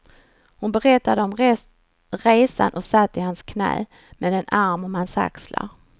Hon berättade om resan och satt i hans knä, med en arm om hans axlar.